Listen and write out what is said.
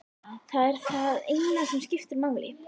Það er það eina sem skiptir máli.